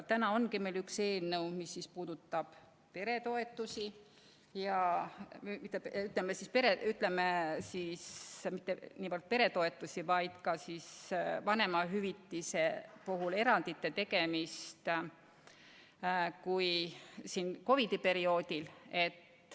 Meil ongi üks eelnõu, mis puudutab peretoetusi või, ütleme siis, mitte niivõrd peretoetusi, kuivõrd ka vanemahüvitise puhul erandite tegemist COVID-i perioodil.